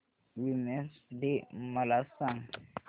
women's day मला सांग